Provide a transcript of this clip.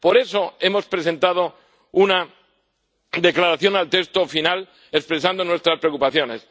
Por eso, hemos presentado una declaración al texto final expresando nuestras preocupaciones.